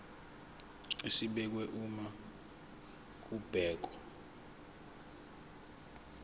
esibekiwe uma kubhekwa